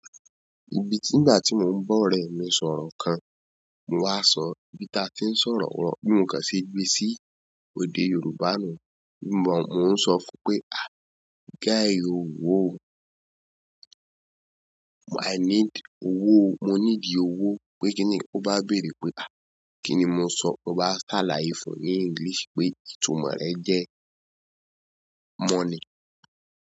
Ibi tí ìgbà tí mò ń bọ̀ rẹ mi sọ̀rọ̀ kan, mò wa sọ ibi ta tí ń sọ̀rọ̀ wọ́n bi mo kan se gbé sí èdè Yorùbá náà. Nígbà mo ń sọ fún pé "Ah! Guy oh wo o. I need owó o. Mo ní di owó o." pé kíni o bá bèèrè pé "à, kíni mò ń sọ?" mo bá ṣàlàyé fún un ní English pé ìtumọ̀ rẹ jẹ́ money.